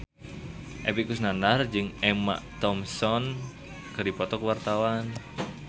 Epy Kusnandar jeung Emma Thompson keur dipoto ku wartawan